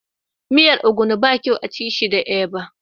Miyan ogbono ba kyau a'ci shi da eba.